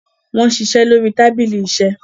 wón ṣiṣẹ lórí tábìlì iṣe.